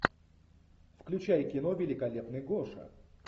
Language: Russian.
включай кино великолепный гоша